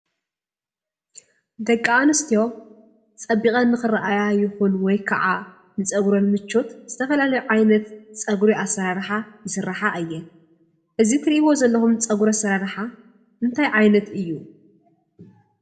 ደቂ አንስትዮ ፀቢቐን ንኽረአያ ይኹን ወይ ከዓ ንፀጉረን ምቾት ዝተፈላለየ ዓይነት ፀጉሪ አሰራርሓ ይስርሓ እየን፡፡ እዚ እትሪኢዎ ዘለኩም ፀጉሪ አሰራርሓ እንታይ ዓይነት እዩ?